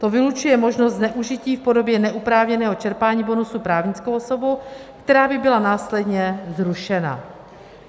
To vylučuje možnost zneužití v podobě neoprávněného čerpání bonusu právnickou osobou, která by byla následně zrušena.